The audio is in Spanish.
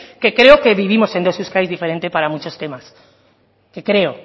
que creo que vivimos en dos euskadis diferentes para muchos temas que creo